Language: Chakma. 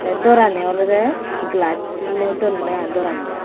tey dorani olodey glaj dinedi donney i dorani.